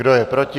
Kdo je proti?